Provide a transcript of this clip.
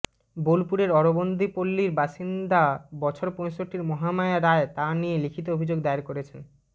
বোলপুরের অরবিন্দপল্লির বাসিন্দা বছর পঁয়ষট্টির মহামায়া রায় তা নিয়ে লিখিত অভিযোগ দায়ের করেছেন